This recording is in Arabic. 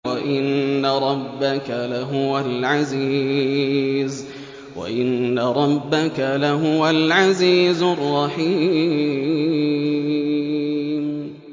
وَإِنَّ رَبَّكَ لَهُوَ الْعَزِيزُ الرَّحِيمُ